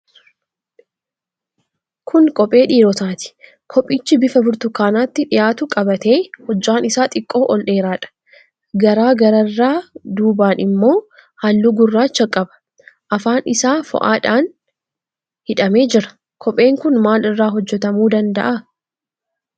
Kun kophee dhiirotaati. Kophichi bifa burtukaanatti dhihaatu qabaatee hojjaan isaa xiqqoo ol dheeraadha. Garaa gararraa duubaan immoo halluu gurraacha qaba. Afaan isaa fo'aadhaan hidhamee jira. Kopheen kun maalirraa hojjetamuu danda'a?